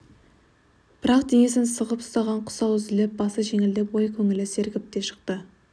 бірақ денесін сығып ұстаған құрсау үзіліп басы жеңілдеп ой көңілі сергіп те шықты